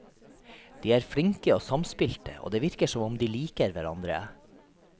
De er flinke og samspilte, og det virker som om de liker hverandre.